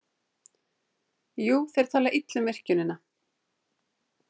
Jú, þeir tala illa um virkjunina.